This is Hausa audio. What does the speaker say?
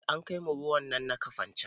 Eh an kaimu ruwan nan na kafancan